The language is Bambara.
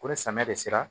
Ko ni samiya de sera